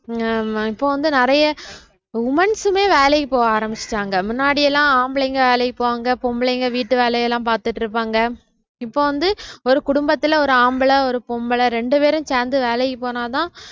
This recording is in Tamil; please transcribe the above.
இங்க இப்ப வந்து நிறைய woman's மே வேலைக்கு போக ஆரம்பிச்சுட்டாங்க முன்னாடி எல்லாம் ஆம்பளைங்க வேலைக்கு போவாங்க பொம்பளைங்க வீட்டு வேலை எல்லாம் பார்த்துட்டு இருப்பாங்க இப்போ வந்து ஒரு குடும்பத்திலே ஒரு ஆம்பள ஒரு பொம்பளை இரண்டு பேரும் சேர்ந்து வேலைக்கு போனாதான்